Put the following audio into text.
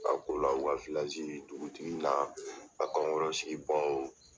A ko la o ka dugutigi n'a a kankɔrɔsigibaaw.